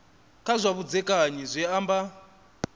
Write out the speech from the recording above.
kha zwa vhudzekani zwi amba